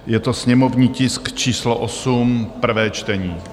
Je to sněmovní tisk číslo 8, prvé čtení.